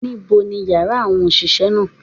Níbo ni yàrá àwọn òsìsé náà